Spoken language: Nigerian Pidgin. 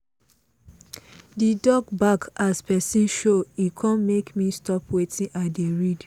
the dog bark as person show e come make me stop wetin i dey read